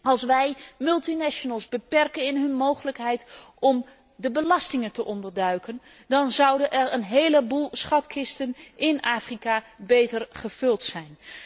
Als wij multinationals beperken in hun mogelijkheid om de belastingen te ontduiken, dan zouden er een heleboel schatkisten in Afrika beter gevuld zijn.